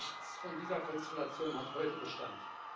Nichts von dieser Konstellation hat heute Bestand.